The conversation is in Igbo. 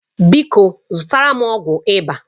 Biko zụtara m ọgwụ ịba